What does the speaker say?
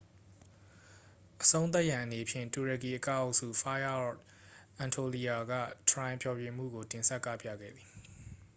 "အဆုံးသတ်ရန်အနေဖြင့် တူရကီအကအုပ်စု fire of anatolia က "ထရိုင်" ဖျော်ဖြေမှုကို တင်ဆက်ကပြခဲ့သည်။